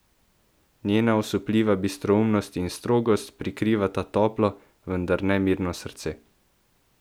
Njena osupljiva bistroumnost in strogost prikrivata toplo, vendar nemirno srce.